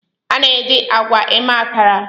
A na-eji agwa mee Akara.